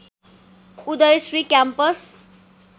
Uday Shri campus